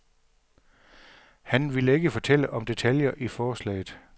Han ville ikke fortælle om detaljer i forslaget.